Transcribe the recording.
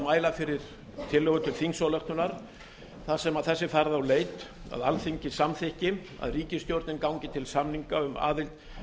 mæla fyrir tillögu til þingsályktunar þar sem þess er farið á leit að alþingi samþykki að ríkisstjórnin gangi til samninga um aðild